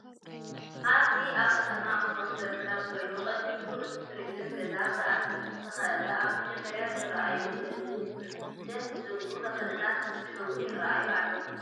እዚ ኣብ ከተማ ኣክሱም ዝርከብ ኮይኑ ቅድሚ እቲ ቱርዙም ገዛ ብኣትክሊት ዝተከበቢ ኣብ መጀመርያ ዝርኣየሁ ዘለው ድስ ዝብሉ ተክሊታት ዝስሕቡ ይራኣዩ ኣለው።